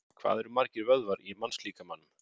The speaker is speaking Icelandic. Hvað eru margir vöðvar í mannslíkamanum?